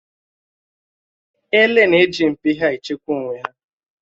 Èlé na-eji mpi ha échekwà onwé hà.